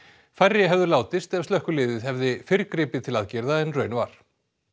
færri hefðu látist ef slökkviliðið hefði fyrr gripið til aðgerða en raun var